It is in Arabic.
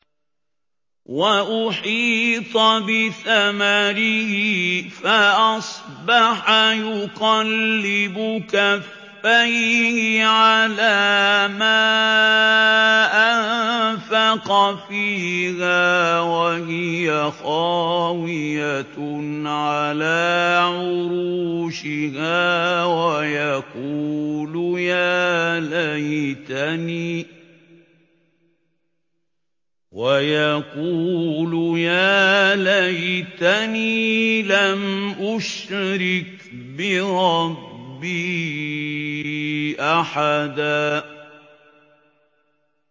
وَأُحِيطَ بِثَمَرِهِ فَأَصْبَحَ يُقَلِّبُ كَفَّيْهِ عَلَىٰ مَا أَنفَقَ فِيهَا وَهِيَ خَاوِيَةٌ عَلَىٰ عُرُوشِهَا وَيَقُولُ يَا لَيْتَنِي لَمْ أُشْرِكْ بِرَبِّي أَحَدًا